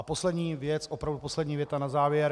A poslední věc, opravdu poslední věta na závěr.